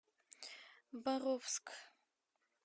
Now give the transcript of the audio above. боровск